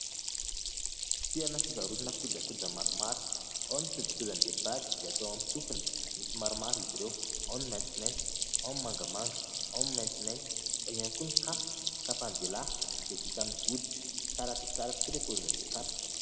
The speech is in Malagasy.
Fitoerana fivarotana kojakoja maromaro, ao ny kojakojam-behivavy izay atao amin'ny sofina, misy maromaro izy ireo, ao ny maitsomaitso, ao ny mangamanga, ao ny maintimainty. Ao ihany koa ny kapa, kapan-dehilahy izay vita amin'ny hoditra, tsara dia tsara tokoa ny paozin'ilay kapa.